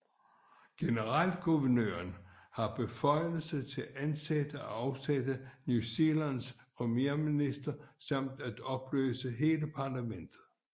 Generalguvernøren har beføjelse til at ansætte og afsætte New Zealands premierminister samt at opløse hele parlamentet